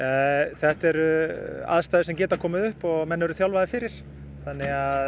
þetta eru aðstæður sem geta komið upp og menn eru þjálfaðir fyrir þannig að